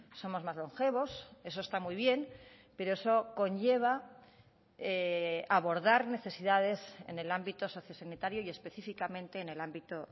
somos más longevos eso está muy bien pero eso conlleva abordar necesidades en el ámbito sociosanitario y específicamente en el ámbito